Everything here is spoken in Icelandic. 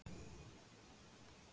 Réttir fram gítarinn.